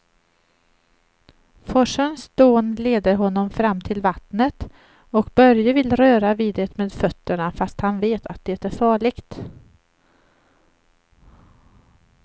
Forsens dån leder honom fram till vattnet och Börje vill röra vid det med fötterna, fast han vet att det är farligt.